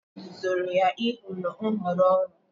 Nna ya duziri ya ịhọrọ nhọrọ ọrụ.